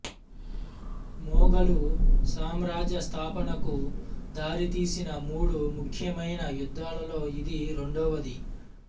మొఘలు సామ్రాజ్యం స్థాపనకు దారితీసిన మూడు ముఖ్యమైన యుద్ధాలలో ఇది రెండవది